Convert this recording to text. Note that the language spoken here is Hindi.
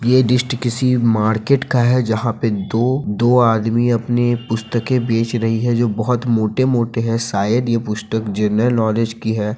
यह डिस्ट किसी मार्केट का है जहा पे दो-दो आदमी अपनी पुस्तके के बेच रहे हैं जो बहुत मोटे-मोटे है शायद ये पुस्तक जनरल नॉलेज के है।